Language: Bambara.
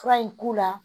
Fura in k'u la